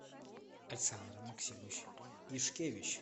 александр максимович ишкевич